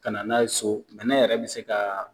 Ka na n'a ye so , bɛnɛn yɛrɛ be se ka